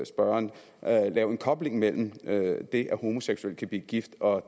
spørgeren lave en kobling mellem det at homoseksuelle kan blive gift og